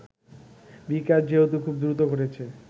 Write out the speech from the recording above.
বিকাশ যেহেতু খুব দ্রুত ঘটেছে